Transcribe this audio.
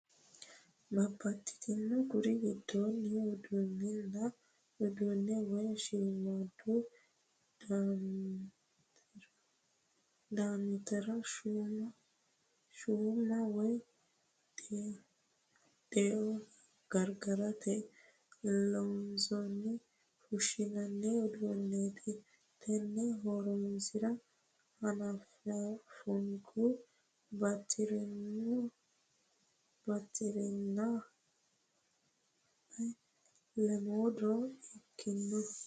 Babbaxxitinore kuri giddooni udi'nanni uduune woyi shiimadu daimotira shuma woyi deo gargarate loonse fushinoni uduuneti tene horonsira hananfukkini batirani batirenna lemo diro di'ikkano.